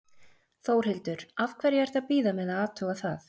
Þórhildur: Af hverju ertu að bíða með að athuga það?